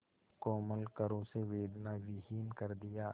कोमल करों से वेदनाविहीन कर दिया